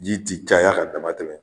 Ji tɛ caya ka damatɛmɛ